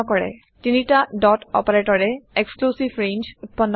তিনিটা ডট অপাৰেটৰে exclusive range উত্পন্ন কৰে